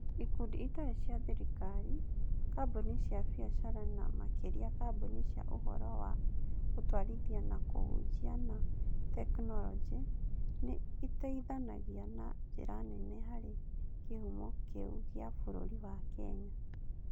Ikundi itarĩ cia thirikari, kambuni cia biacara, na makĩria kambuni cia Ũhoro wa Gũtwarithia na Kũhunjia na tekinoronjĩ, nĩ iteithanagia na njĩra nene harĩ kĩhumo kĩu gĩa bũrũri wa Kenya.